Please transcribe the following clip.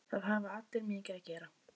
Það hafa allir mikið að gera.